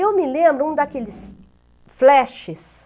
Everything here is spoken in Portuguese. Eu me lembro um daqueles flashes,